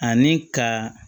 Ani ka